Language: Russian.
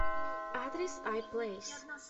адрес ай плейс